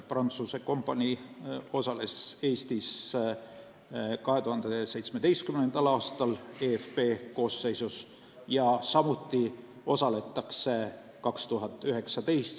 Prantsuse kompanii osales Eestis 2017. aastal eFP koosseisus ja samuti osaletakse 2019. aastal.